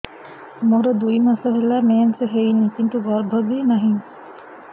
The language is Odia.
ମୋର ଦୁଇ ମାସ ହେଲା ମେନ୍ସ ହେଇନି କିନ୍ତୁ ଗର୍ଭ ବି ନାହିଁ